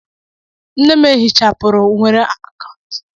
Nne m ehichapụrụ nwere akaụntụ Facebook.